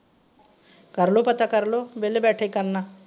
ਕਰਲੋ ਪਤਾ ਕਰਲੋ ਵੇਹਲੇ ਬੈਠੇ ਕਿ ਕਰਨਾ।